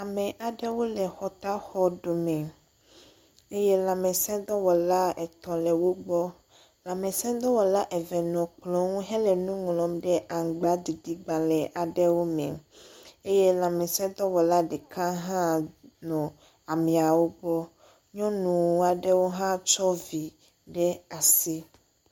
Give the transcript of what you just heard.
Ame aɖewo le xɔtaxɔ dome eye lãmesẽdɔwɔla etɔ le wògbɔ. Lãmesẽdɔwɔla eve nɔ kplɔ nu henɔ nu ŋlm ɖe amagbaɖiɖi gbalẽ aɖewo me eye lãmesẽdɔwɔla ɖeka hã nɔ ameawo gbɔ. Nyɔnu aɖewo hã tsɔ vi ɖe asi.